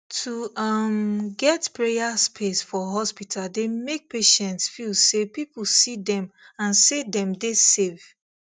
to um get prayer space for hospital dey make patients feel say people see them and say dem dey safe